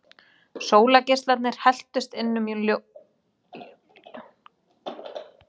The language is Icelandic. Sólargeislarnir helltust inn um ljórann og böðuðu hann dýrlegum ljóma.